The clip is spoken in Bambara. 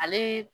Ale